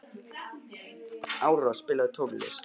Aurora, spilaðu tónlist.